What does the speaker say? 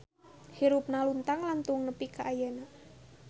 Hirupna luntang lantung nepi ka ayeuna